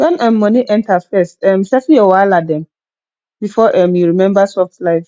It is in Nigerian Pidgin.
when um money enter first um settle your wahala dem before um you remember soft lie